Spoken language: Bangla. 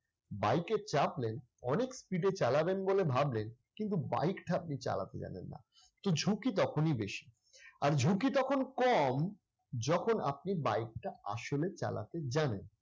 bike এ চাপলেন, অনেক speed চালাবেন বলে ভাবলেন, কিন্তু bike টা আপনি চালাতে জানেন না। তো ঝুঁকি তখনই বেশি। আর ঝুঁকি তখন কম যখন আপনি bike টা আসলে চালাতে জানেন।